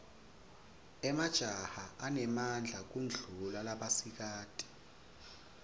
emajaha anemadla kudulla labasikati